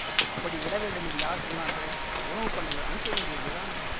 அப்படி விட வேண்டும் என்று யார் சொன்னார்கள் உணவு பண்டங்கள் அனுப்ப வேண்டியதுதான்